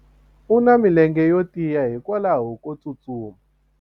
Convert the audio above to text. u na milenge yo tiya hikwalaho ko tsustuma